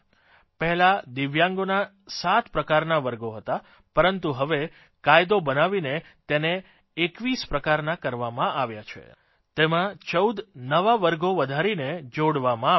પહેલાં દિવ્યાંગોના સાત પ્રકારના વર્ગો હતા પરંતુ હવે કાયદો બનાવીને તેને 21 પ્રકારના કરવામાં આવ્યા છે તેમાં ચૌદ નવા વર્ગો વધારીને જોડવામાં આવ્યા છે